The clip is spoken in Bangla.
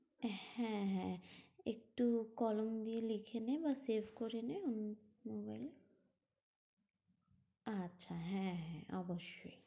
হ্যাঁ হ্যাঁ, একটু কলম দিয়ে লিখে নে বা save করে নে উম mobile মানে এ। আচ্ছা হ্যাঁ হ্যাঁ অবশ্যই।